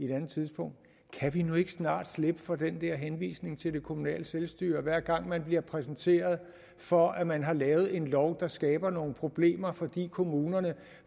et andet tidspunkt kan vi nu ikke snart slippe for den der henvisning til det kommunale selvstyre hver gang man bliver præsenteret for at man har lavet en lov der skaber nogle problemer fordi kommunerne